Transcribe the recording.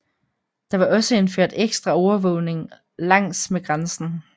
Der var også indført ekstra overvågning langsmed grænsen